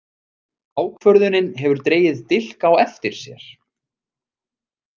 Ákvörðunin hefur dregið dilk á eftir sér.